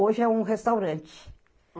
Hoje é um restaurante.